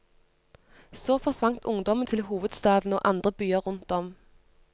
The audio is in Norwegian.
Så forsvant ungdommen til hovedstaden og andre byer rundt om.